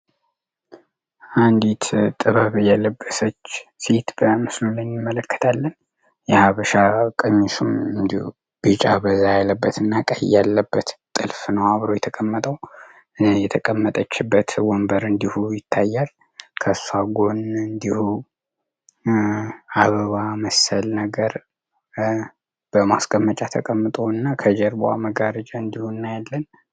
አንዲት ጥበብ የልብሰች ሴት በምስሉ ላይ እንመለከታለን። የሀበሻ ቀሚሱም ቢጫ በዛ አያለበት እና ቀሄ ያለበት ጥልፍ ኖዋብሮ የተቀመጠው። የተቀመጠችበት ወንበር እንዲሁ ይታያል። ከጎን እንዲሁ አበባ መሰል ነገር በማስቀመጫ ተቀምጠ እና ከጀርቧ መጋርጃ እንዲሁ እናያለን።